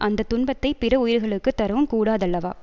அந்த துன்பத்தை பிற உயிர்களுக்கு தரவும் கூடாதல்லவா